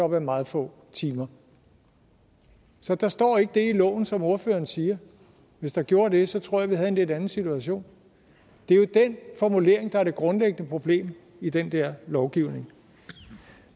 med meget få timer så der står ikke det i loven som ordføreren siger hvis der gjorde det så tror jeg at vi have en lidt anden situation det er jo den formulering der er det grundlæggende problem i den der lovgivning